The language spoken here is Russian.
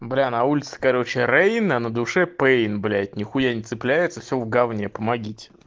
бля на улице короче рэйна на душе пэйн блять нехуя не цепляется вся в говне помогите